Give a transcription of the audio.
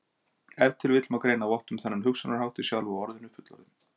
Ef til vill má greina vott um þennan hugsunarhátt í sjálfu orðinu fullorðinn.